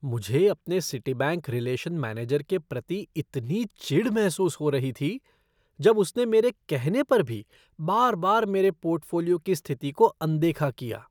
मुझे अपने Citibank relation manager के प्रति इतनी चिढ़ महसूस हो रही थी, जब उसने मेरे कहने पर भी बार बार मेरे पोर्टफ़ोलियो की स्थिति को अनदेखा किया।